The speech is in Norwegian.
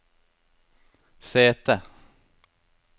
sete